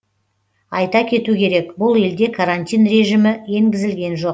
айта кету керек бұл елде карантин режимі енгізілген жоқ